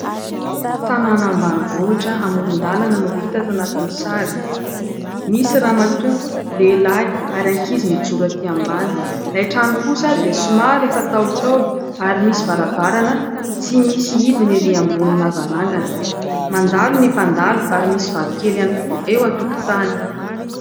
Tanàna ambanivohitra amoron-dalana no hita ato anatin'ny sary : misy ramatoa, lehilahy ary ankizy mijoro ; aty ambanin' ilay trano kosa dia somary efa ntaolontaolo ary misy varavarana tsy misy hidiny erỳ ambony lavarangana, mandalo ny mpandalo ary misy vatokely ihany koa eo an-tokotany.